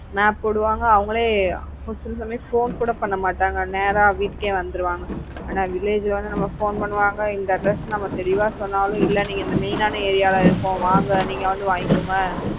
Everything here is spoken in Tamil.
map போடுவாங்க அவங்களே சில சமயம் phone கூட பண்ண மாட்டாங்க நேரா வீட்டுக்கே வந்துடுவாங்க ஆனா village ல வந்து போன் பண்ணுவாங்க இந்த address நம்ம தெளிவா சொன்னாலும் இல்ல இந்த மெயினான ஏரியால இருக்கோம் வாங்க நீங்க இங்க வந்து வாங்கிக்கோங்க